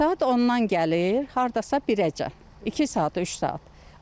Saat ondan gəlir, hardasa birəcən, iki saat, üç saat.